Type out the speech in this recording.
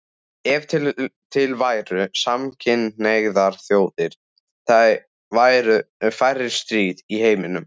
Ef til væru samkynhneigðar þjóðir væru færri stríð í heim